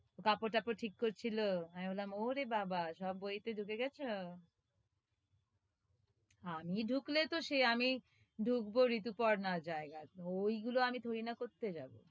কাপড় -টাপর ঠিক করছিল আমি বললাম, ওরে বাবা সব বইতে ডুকে গেছো? আমি ডুকলে তহ সেই, আমি ডুকবো ঋতুপর্ণার জায়গায় ওইগুলো আমি থুরি না করতে যাবো,